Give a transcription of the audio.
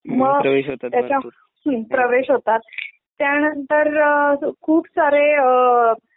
मग त्याच्या हुं प्रवेश होतात त्यानंतर अ खुप सारे अ